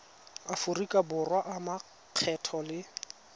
aforika borwa a makgetho le